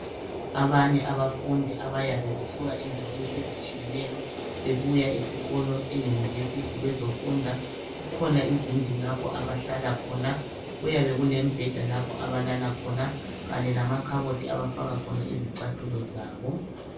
Abanye abafundi abayabe besuka endaweni ezitshiyeneyo bebuya esikolo eyunivesiti bezofunda kukhona izindlu lapho abahlala khona. Kuyabe kulemibheda lapho abalala khona khanye lamakhabothi abafaka khona izicathulo zabo.